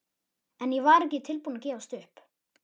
En ég var ekki tilbúin að gefast upp.